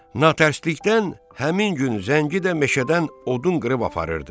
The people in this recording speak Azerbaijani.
Natərslikdən həmin gün Zəngi də meşədən odun qırıb aparırdı.